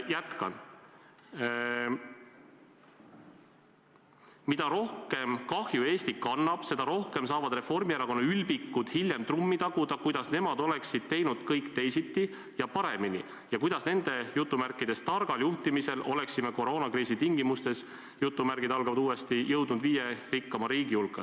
" Jätkan: "Mida rohkem kahju Eesti kannab, seda rohkem saavad Reformierakonna ülbikud hiljem trummi taguda, kuidas nemad "oleksid teinud kõik teisiti ja paremini" ja kuidas nende "targal juhtimisel" oleksime koroonakriisi tingimustes "jõudnud viie rikkama hulka.